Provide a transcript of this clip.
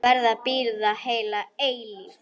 Verð að bíða heila eilífð.